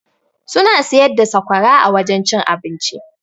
Suna siyar da sakwara a wajen cin abinci.